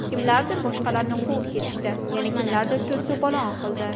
Kimlardir boshqalarni quvib ketishdi, yana kimlardir to‘s-to‘polon qildi.